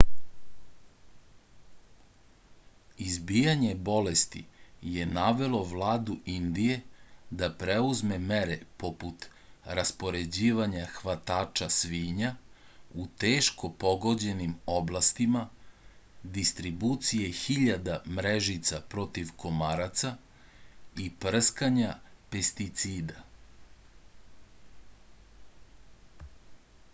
izbijanje bolesti je navelo vladu indije da preuzme mere poput raspoređivanja hvatača svinja u teško pogođenim oblastima distribucije hiljada mrežica protiv komaraca i prskanja pesticida